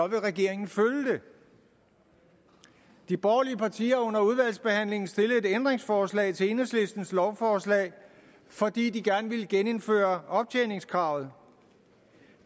vil regeringen følge det de borgerlige partier har under udvalgsbehandlingen stillet et ændringsforslag til enhedslistens lovforslag fordi de gerne vil genindføre optjeningskravet